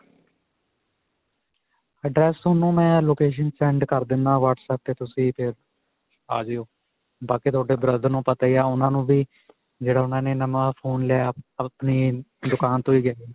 address, ਤੁਹਾਨੂੰ ਮੈਂ location send ਕਰ ਦਿੰਨਾ whatsapp 'ਤੇ ਤੁਸੀਂ ਤੇ' ਆ ਜਾਇਓ. ਬਾਕੀ ਤੁਹਾਡੇ brother ਨੂੰ ਪਤਾ ਹੀ ਹੈ ਉਨ੍ਹਾਂ ਨੂੰ ਵੀ ਜਿਹੜਾ ਉਨ੍ਹਾਂ ਨੇ ਨਵਾ phone ਲਿਆ ਆਪਣੀ ਦੁਕਾਨ ਤੋ ਹੀ ਗਿਆ.